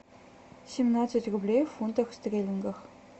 семнадцать рублей в фунтах стерлингах